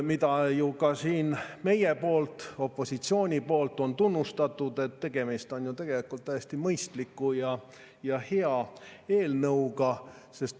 Seda oleme ju ka siin meie, opositsioon, tunnustanud, sest tegemist on ju tegelikult täiesti mõistliku ja hea eelnõuga.